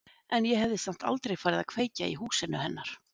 En ég hefði samt aldrei farið að kveikja í húsinu hennar.